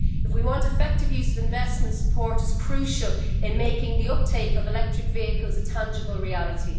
If we want effective use of investment, support is crucial in making the uptake of electric vehicles a tangible reality.